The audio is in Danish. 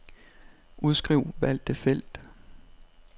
Udskriv valgte felt.